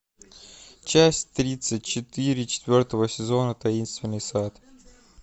часть тридцать четыре четвертого сезона таинственный сад